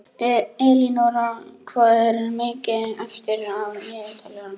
Elínora, hvað er mikið eftir af niðurteljaranum?